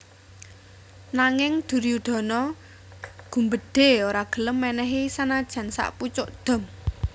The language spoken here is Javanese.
Nanging Duryudana gumbedhe ora gelem menehi sanajan sakpucuk dom